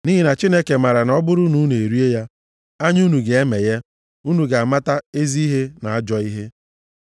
Nʼihi na Chineke maara na ọ bụrụ na unu erie ya, anya unu ga-emeghe, unu ga-amata ezi ihe na ajọ ihe.”